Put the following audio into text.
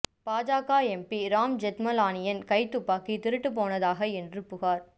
பாஜக எம்பி ராம் ஜெத்மலானியன் கைத்துப்பாக்கி திருட்டு போனதாக என்று புகார்